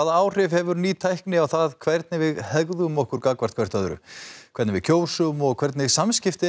áhrif hefur ný tækni á það hvernig við hegðum okkur gagnvart hvert öðru hvernig við kjósum og hvernig samskipti